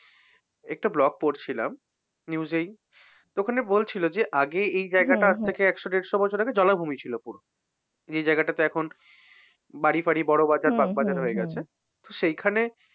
একটা blog পড়ছিলাম। news এই। তো ওখানে বলছিল যে, আগে এই জায়গাটা আজ থেকে একশো-দেড়শো বছর আগে জলাভুমি ছিল full যে জায়গাটাতে এখন বাড়ি-ফাড়ি, বড়বাজার, বাগবাজার হয়ে গেছে। সেইখানে,